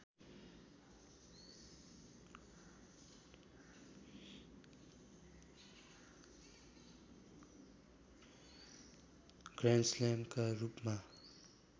grand स्लेमका रूपमा